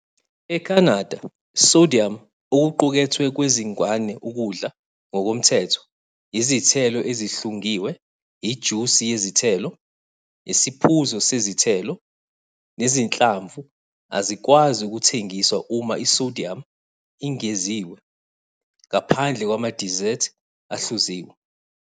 ECanada sodium okuqukethwe kwezingane ukudla ngokomthetho, Izithelo ezihlungiwe, ijusi yezithelo, isiphuzo sezithelo, nezinhlamvu azikwazi ukuthengiswa uma i-sodium ingeziwe, ngaphandle kwama-dessert ahluziwe.